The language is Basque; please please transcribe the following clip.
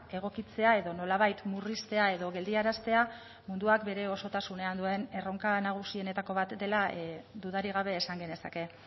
egokitzea edo nolabait murriztea edo geldiaraztea munduak bere osotasunean erronka nagusienetako bat dela dudarik gabe esan genezake